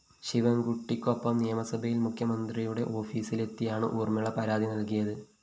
ശിവന്‍കുട്ടിക്കൊപ്പം നിയമസഭയില്‍ മുഖ്യമന്ത്രിയുടെ ഓഫീസിലെത്തിയാണ് ഊര്‍മ്മിള പരാതി നല്‍കിയത്